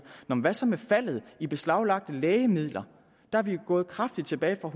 men hvad så med faldet i beslaglagte lægemidler der er vi jo gået kraftigt tilbage fra